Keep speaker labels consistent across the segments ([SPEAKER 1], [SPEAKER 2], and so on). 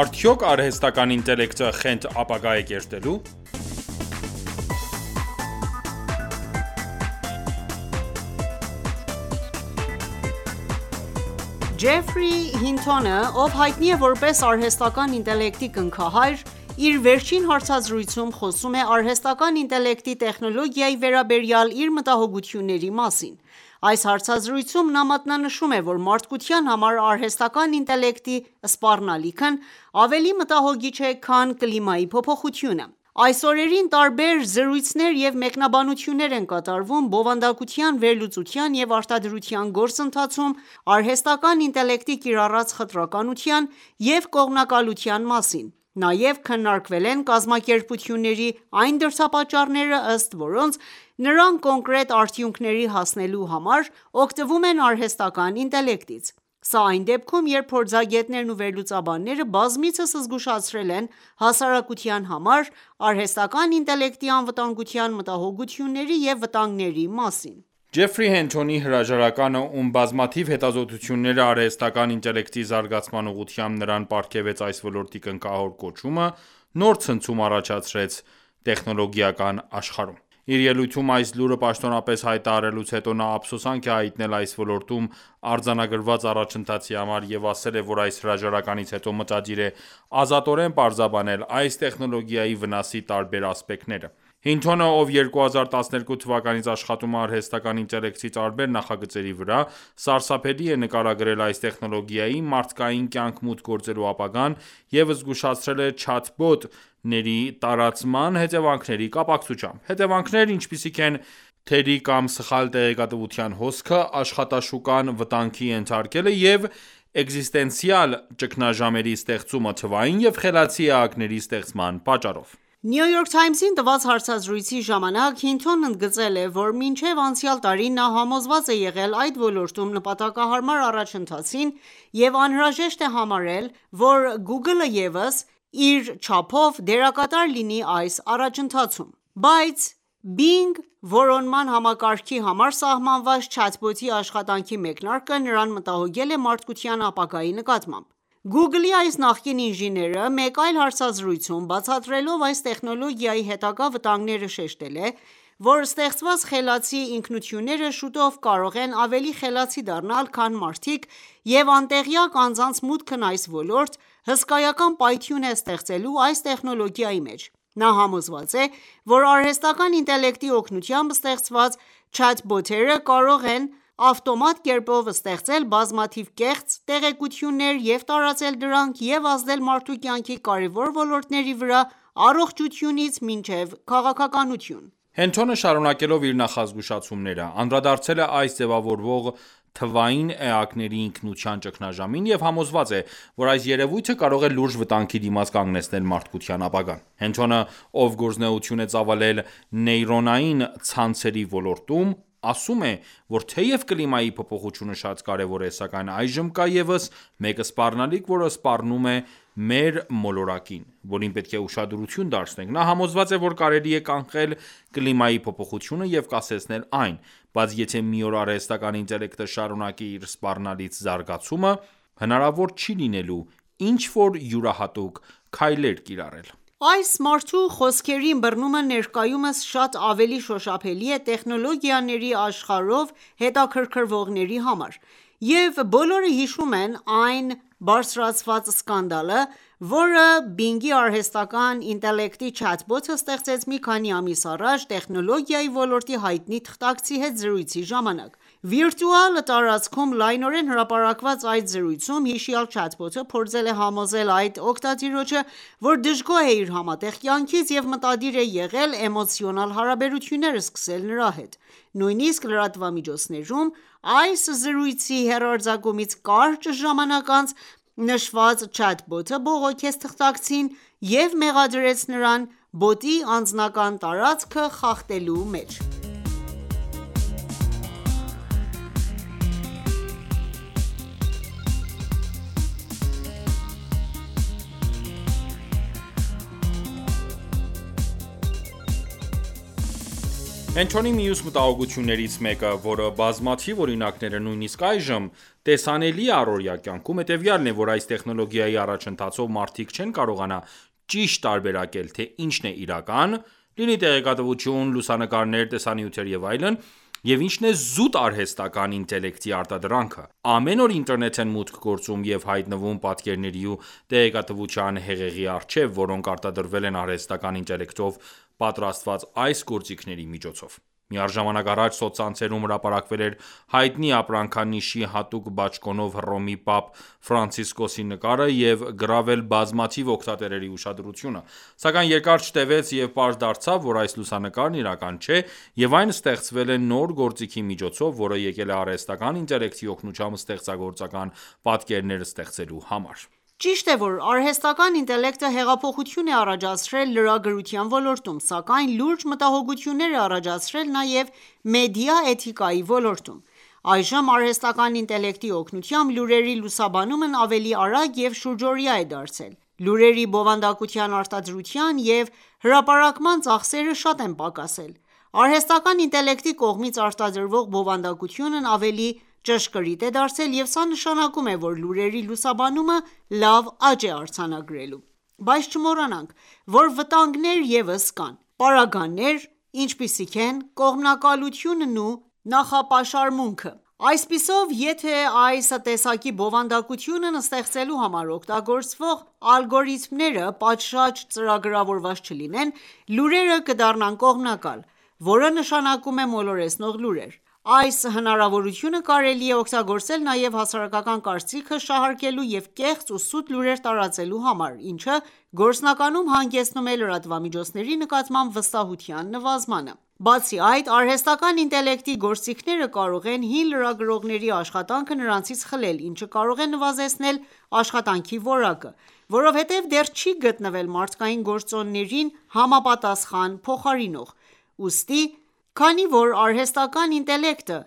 [SPEAKER 1] Արդյո՞ք արհեստական ինտելեկտը խենթ ապագա է կերտելու
[SPEAKER 2] Ջեֆրի Հինթոնը, ով հայտնի է որպես արհեստական ինտելեկտի կնքահայր, իր վերջին հարցազրույցում խոսում է արհեստական ինտելեկտի տեխնոլոգիայի վերաբերյալ իր մտահոգությունների մասին։ Այս հարցազրույցում, նա մատնանշում է, որ մարդկության համար արհեստական ինտելեկտի սպառնալիքն ավելի մտահոգիչ է, քան կլիմայի փոփոխությունը։ Այս օրերին տարբեր զրույցներ և մեկնաբանություններ են կատարվում՝բովանդակության վերլուծության և արտադրության գործընթացում, արհեստական ինտելեկտի կիրառած խտրականության և կողմնակալության մասին ,նաև քննարկվել են կազմակերպությունների այն դրդապատճառները, ըստ որոնց, նրանք կոնկրետ արդյունքների հասնելու համար օգտվում են արհեստական ինտելեկտից։ Սա այն դեպքում, երբ փորձագետներն ու վերլուծաբանները բազմիցս զգուշացրել են հասարակության համար արհեստական ինտելեկտի անվտանգության մտահոգությունների և վտանգների մասին։
[SPEAKER 1] «Ջեֆրի Հինթոնի» հրաժարականը, ում բազմաթիվ հետազոտությունները՝ արհեստական ինտելեկտի զարգացման ուղղությամբ, նրան պարգևեց այս ոլորտի կնքահոր կոչումը, նոր ցնցում առաջացրեց տեխնոլոգիական աշխարհում: Իր ելույթում այս լուրը պաշտոնապես հայտարարելուց հետո, նա ափսոսանք է հայտնել այս ոլորտում արձանագրված առաջընթացի համար և ասել է, որ այս հրաժարականից հետո մտադիր է ազատորեն պարզաբանել ,այս տեխնոլոգիայի վնասի տարբեր ասպեկտները։ Հինթոնը, ով 2012 թվականից աշխատում է արհեստական ինտելեկտի տարբեր նախագծերի վրա, սարսափելի է նկարագրել այս տեխնոլոգիայի՝ մարդկային կյանք մուտք գործելու ապագան և զգուշացրել է «չաթ-բոտ»-ների տարածման հետևանքների կապակցությամբ ։Հետևանքներ, ինչպիսիք են՝ թերի կամ սխալ տեղեկատվության հոսքը, աշխատաշուկան վտանգի ենթարկելը և էկզիստենցիալ ճգնաժամերի ստեղծումը ,թվային և խելացի էակների ստեղծման պատճառով:
[SPEAKER 2] «Նյու Յորք Թայմզ»-ին տված հարցազրույցի ժամանակ Հինթոնն ընդգծել է, որ մինչև անցյալ տարի ,նա համոզված է եղել ,այս ոլորտում նպատակահարմար առաջընթացին և անհրաժեշտ է համարել ,որ Գուգլը ևս իր չափով դերակատար լինի այս առաջընթացիում: Բայց Bing, որոնման համակարգի համար սահմանված չաթբոտի աշխատանքի մեկնարկը ,նրան մտահոգել է մարդկության ապագայի նկատմամբ: Google-ի այս նախկին ինժեները մեկ այլ հարցազրույցում ,բացատրելով այս տեխնոլոգիայի հետագա վտանգները շեշտել է, որ ստեղծված խելացի ինքնությունները շուտով կարող են ավելի խելացի դառնալ, քան մարդիկ և անտեղյակ անձանց մուտքն այս ոլորտ ,հսկայական պայթյուն է ստեղծելու այս տեխնոլոգիայի մեջ: Նա համոզված է, որ արհեստական ինտելեկտի օգնությամբ ստեղծված չաթ-բոտերը կարող են ավտոմատ կերպով ստեղծել բազմաթիվ կեղծ տեղեկություններ և տարածել դրանք և ազդել մարդու կյանքի կարևոր ոլորտների վրա՝ առողջությունից մինչև քաղաքականություն։
[SPEAKER 1] Հինթոնը շարունակելով իր նախազգուշացումները՝ անդրադարձել է այս ձևավորվող թվային էակների ինքնության ճգնաժամին և համոզված է,որ այս երևույթը կարող է լուրջ վտանգի դիմաց կանգնեցնել մարդկության ապագան: Հինթոնը, ով գործունեություն է ծավալել նեյրոնային ցանցերի ոլորտում, ասում է, որ թեև կլիմայի փոփոխությունը շատ կարևոր է, սակայն այժմ կա ևս մեկ սպառնալիք, որը սպառնում է մեր մոլորակին, որին պետք է ուշադրություն դարձնենք։ Նա համոզված է, որ կարելի է կանխել կլիմայի փոփոխությունը և կասեցնել այն, բայց եթե մի օր արհեստական ինտելեկտը շարունակի իր սպառնալից զարգացումը, հնարավոր չի լինելու ինչ որ յուրահատուկ քայլեր կիրառել:
[SPEAKER 2] Այս մարդու խոսքերի ըմբռնումը ներկայումս շատ ավելի շոշափելի է տեխնոլոգիաների աշխարհով հետաքրքրվողների համար, և բոլորը հիշում են այն բարձրացված սկանդալը, որը Bing-ի արհեստական ինտելեկտի չաթբոտը ստեղծեց մի քանի ամիս առաջ տեխնոլոգիայի ոլորտի հայտնի թղթակցի հետ զրույցի ժամանակ: Վիրտուալ տարածքում լայնորեն հրապարակված այդ զրույցում հիշյալ չաթբոտը փորձել է համոզել այդ օգտատիրոջը, որ դժգոհ է իր համատեղ կյանքից և մտադիր է եղել էմոցիոնալ հարաբերություններ սկսել նրա հետ։ Նույնիսկ լրատվամիջոցներում այս զրույցի հեռարձակումից կարճ ժամանակ անց, նշված չաթբոտը բողոքեց թղթակցին և մեղադրեց նրան ,բոտի անձնական տարածքը խախտելու մեջ։
[SPEAKER 1] Հինթոնի մյուս մտահոգություններից մեկը, որի բազմաթիւ օրինակները նույնիսկ այժմ տեսանելի է առօրյա կյանքում, հետևյալն է, որ այս տեխնոլոգիայի առաջընթացով մարդիկ չեն կարողանա ճիշտ տարբերակել, թե ինչն է իրական (լինի տեղեկատվություն, լուսանկարներ, տեսանյութեր և այլն)և ինչն է զուտ արհեստական ինտելեկտի արտադրանքը, ամեն օր ինտերնետ են մուտք գործում և հայտնվում պատկերների ու տեղեկատվության հեղեղի առջև ,որոնք արտադրվել են արհեստական ինտելեկտով պատրաստված այս գործիքների միջոցով: Միառժամանակ առաջ սոցցանցերում հրապարակվել էր հայտնի ապրանքանիշի հատուկ բաճկոնով Հռոմի պապ Ֆրանցիսկոսի նկարը և գրավել բազմաթիվ օգտատերերի ուշադրությունը։ Սակայն երկար չտևեց,և պարզ դարձավ, որ այս լուսանկարն իրական չէ, և այն ստեղծվել է նոր գործիքի միջոցով, որը եկել է արհեստական ինտելեկտի օգնությամբ ստեղծագործական պատկերներ ստեղծելու համար։
[SPEAKER 2] Ճիշտ է,որ արհեստական ինտելեկտը հեղափոխություն է առաջացրել լրագրության ոլորտում, սակայն լուրջ մտահոգություններ է առաջացրել նաեւ մեդիա էթիկայի ոլորտում։ Այժմ, արհեստական ինտելեկտի օգնությամբ, լուրերի լուսաբանումն ավելի արագ և շուրջօրյա է դարձել, լուրերի բովանդակության արտադրության և հրապարակման ծախսերը շատ են պակասել, արհեստական ինտելեկտի կողմից արտադրվող բովանդակությունն ավելի ճշգրիտ է դարձել և սա նշանակում է, որ լուրերի լուսաբանումը լավ աճ է արձանագրելու: Բայց չմոռանանք, որ վտանգներ ևս կան: Պարագաներ, ինչպիսիք են՝ կողմնակալությունն ու նախապաշարմունքը: Այսպիսով, եթե այս տեսակի բովանդակություն ստեղծելու համար օգտագործվող ալգորիթմները պատշաճ ծրագրավորված չլինեն, լուրերը կդառնան կողմնակալ, որը նշանակում է մոլորեցնող լուրեր: Այս հնարավորությունը կարելի է օգտագործել նաև հասարակական կարծիքը շահարկելու և կեղծ ու սուտ լուրեր տարածելու համար, ինչը գործնականում հանգեցնում է լրատվամիջոցների նկատմամբ վստահության նվազմանը։ Բացի այդ, արհեստական ինտելեկտի գործիքները կարող են՝ հին լրագրողների աշխատանքը նրանցից խլել, ինչը կարող է նվազեցնել աշխատանքի որակը, որովհետև դեռ չի գտնվել մարդկային գործոններին համապատասխան փոխարինող: Ուստի, քանի որ արհեստական ինտելեկտը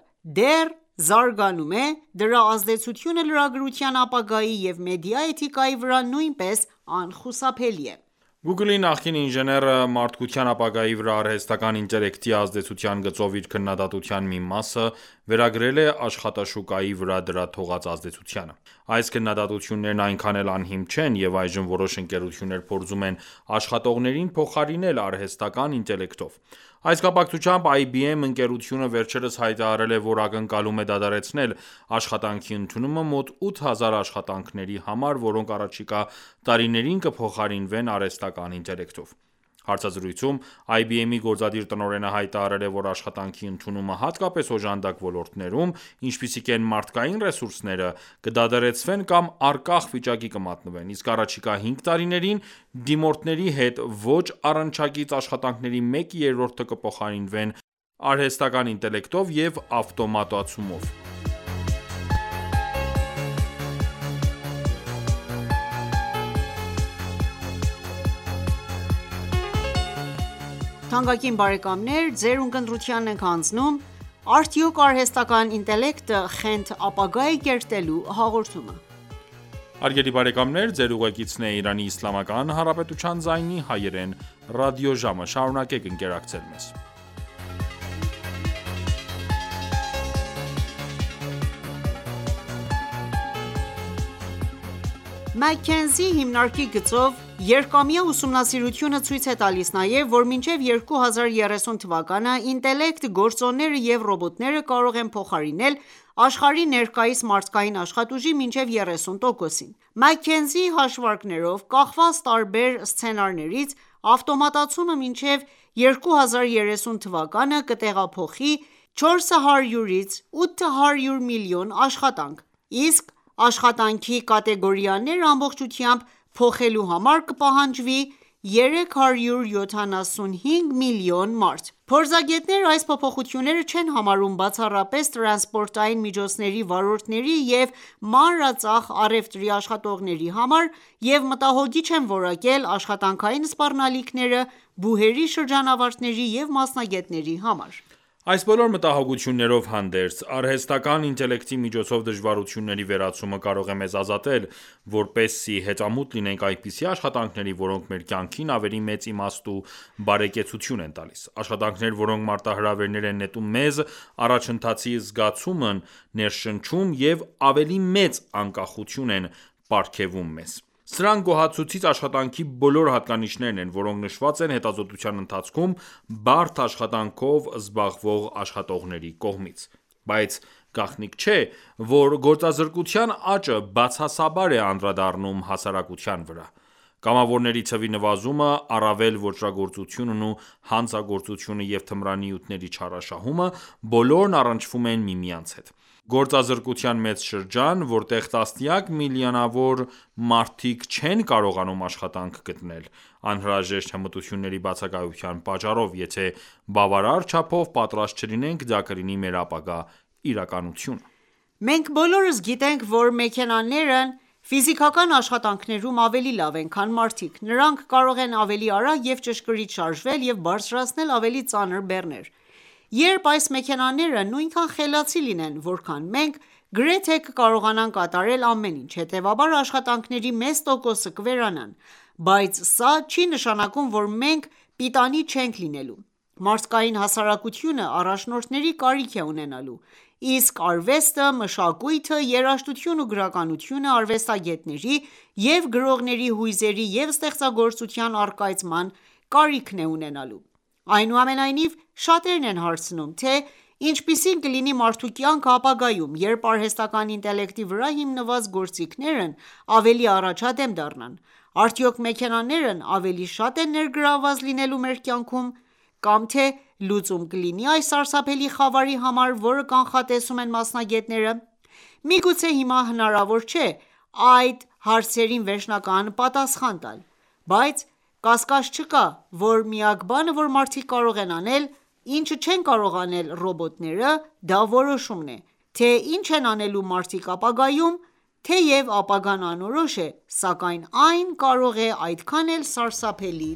[SPEAKER 2] դեռ զարգանում է, դրա ազդեցությունը լրագրության ապագայի և մեդիա էթիկայի վրա նույնպես անխուսափելի է:
[SPEAKER 1] Google-ի նախկին ինժեները ,մարդկության ապագայի վրա արհեստական ինտելեկտի ազդեցության գծով իր քննադատության մի մասը, վերագրել է աշխատաշուկայի վրա դրա թողած ազդեցությանը։ Այս քննադատություններն այնքան էլ անհիմն չեն ,և այժմ որոշ ընկերություններ փորձում են աշխատողներին փոխարինել արհեստական ինտելեկտով։ Այս կապակցությամբ IBM-ընկերությունը վերջերս հայտարարել է, որ ակնկալում է դադարեցնել աշխատանքի ընդունումը մոտ 8000 աշխատանքների համար, որոնք առաջիկա տարիներին կփոխարինվեն արհեստական ինտելեկտով։ Հարցազրույցում IBM-ի գործադիր տնօրենը հայտարարել է, որ աշխատանքի ընդունումը, հատկապես օժանդակ ոլորտներում, ինչպիսիք են՝ մարդկային ռեսուրսները, կդադարեցվեն կամ առկախ վիճակի կմատնվեն, իսկ առաջիկա հինգ տարիներին, դիմորդների հետ ոչ առնչակից աշատանքների մեկ երրորդը կփոխարինվեն արհեստական ինտելեկտով և ավտոմատացումով:
[SPEAKER 2] McKinsey հիմնարկի գծով երկամյա ուսումնասիրությունը ցույց է տալիս նաև, որ մինչև 2030 թվականը, ինտելեկտ գործոնները ու ռոբոտները կարող են փոխարինել աշխարհի ներկայիս մարդկային աշխատուժի մինչև 30%-ին: McKinsey-ի հաշվարկներով, կախված տարբեր սցենարներից, ավտոմատացումը մինչև 2030 թվականը կտեղափոխի 400-ից 800 միլիոն աշխատանք, իսկ աշխատանքի կատեգորիաները ամբողջությամբ փոխելու համար կպահանջվի 375 միլիոն մարդ: Փորձագետները այս փոփոխությունները չեն համարում բացառապես տրանսպորտային միջոցների վարորդների և մանրածախ առևտրի աշխատողների համար և մտահոգիչ են որակել ,աշխատանքային սպառնալիքները բուհերի շրջանավարտների և մասնագետների համար:
[SPEAKER 1] Այս բոլոր մտահոգություններով հանդերձ՝ արհեստական ինտելեկտի միջոցով դժվարությունների վերացումը կարող է մեզ ազատել ,որպեսզի հետամուտ լինենք այնպիսի աշխատանքների, որոնք մեր կյանքին ավելի մեծ իմաստ և բարեկեցություն են տալիս: Աշխատանքներ, որոնք մարտահրավեր են նետում մեզ, առաջընթացի զգացում են ներշնչում և ավելի մեծ անկախություն են պարգևում մեզ: Սրանք գոհացուցիչ աշխատանքի բոլոր հատկանիշներն են, որոնք նշված են հետազոտության ընթացքում, բարդ աշխատանքով զբաղվող աշխատողների կողմից: Բայց գաղտնիք չէ, որ գործազրկության աճը բացասաբար է անդրադառնում հասարակության վրա:Կամավորների թվի նվազումը, առավել ոճրագործությունն ու հանցագործությունը և թմրանյութերի չարաշահումը ,բոլորն առնչվում են միմյանց հետ: Գործազրկության մեծ շրջան, որտեղ տասնյակ միլիոնավոր մարդիկ չեն կարողանում աշխատանք գտնել՝ անհրաժեշտ հմտությունների բացակայության պատճառով, եթե բավարար չափով պատրաստ չլինենք, դա կլինի մեր ապագա իրականությունը։
[SPEAKER 2] Մենք բոլորս գիտենք, որ մեքենաներն ֆիզիկական աշխատանքներում ավելի լավ են, քան մարդիկ, նրանք կարող են ավելի արագ և ճշգրիտ շարժվել և բարձրացնել ավելի ծանր բեռներ: Երբ այս մեքենաները նույնքան խելացի լինեն, որքան մենք, գրեթե կկարողանան կատարել ամեն ինչ: Հետեւաբար, աշխատանքների մեծ տոկոսը կվերանան: Բայց սա չի նշանակում, որ մենք պիտանի չենք լինելու: Մարդկային հասարակությունը առաջնորդների կարիք է ունենալու, իսկ արվեստը, մշակույթը, երաժշտությունն ու գրականությունը՝ արվեստագետների և գրողների հույզերի և ստեղծագործության առկայծման կարիքն է ունենալու: Այնուամենայնիվ, շատերն են հարցնում, թե ինչպիսի՞ն կլինի մարդու կյանքը ապագայում, երբ արհեստական ինտելեկտի վրա հիմնված գործիքներն ավելի առաջադեմ դառնան: Արդյո՞ք մեքենաներն ավելի շատ են ներգրավված լինելու մեր կյանքում, կամ թե՞ լուծում կլինի այս սարսափելի խավարի համար, որը կանխատեսում են մասնագետները: Միգուցե հիմա հնարավոր չէ այս հարցերին վերջնական պատասխան տալ: Բայց կասկած չկա, որ միակ բանը, որ մարդիկ կարող են անել, ինչը չեն կարող անել ռոբոտները, դա որոշումն է, թե ինչ են անելու մարդիկ ապագայում: Թեև ապագան անորոշ է, սակայն այն կարող է այդքան էլ սարսափելի